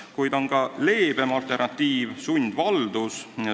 Kuid on ka leebem alternatiiv: sundvaldus.